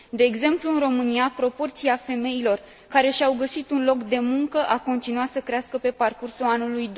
De exemplu, în România, proporția femeilor care și au găsit un loc de muncă a continuat să crească pe parcursul anului